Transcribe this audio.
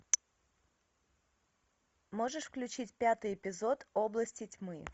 можешь включить пятый эпизод области тьмы